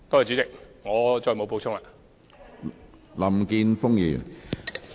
主席，我再無補充。